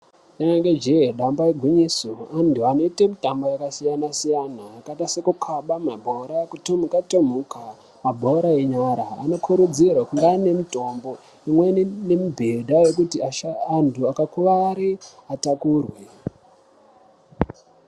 Rinenge jee damba igwinyiso vanhu vanoite mitambo yakasiyana siyana yskaite sekukhabe bhora, kutomuka tomuka Nekutamba bhora renyara anokurudzirwa kuti ave m